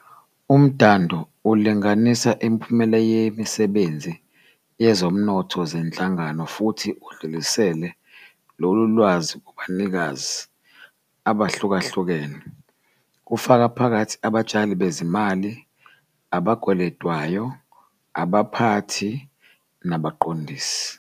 Umdando ulinganisa imiphumela yemisebenzi yezomnotho zenhlangano futhi idlulisele lolu lwazi kubanikazi abahlukahlukene, kufaka phakathi Abatshali bezimali, abakweletwayo, abaphathi, nabaqondisi.